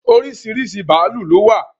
Oríṣiríṣi bàálù ló wà